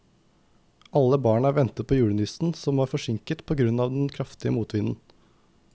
Alle barna ventet på julenissen, som var forsinket på grunn av den kraftige motvinden.